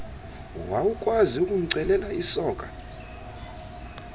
wawukwazi ukumcelela isoka